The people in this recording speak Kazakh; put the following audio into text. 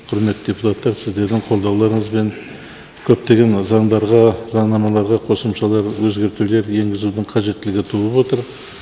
құрметті депутаттар сіздердің қолдауларыңызбен көптеген заңдарға заңнамаларға қосымшалы өзгертулер енгізудің қажеттілігі туып отыр